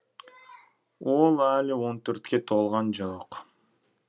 ол әлі он төртке толған жоқ